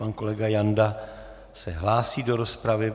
Pan kolega Janda se hlásí do rozpravy.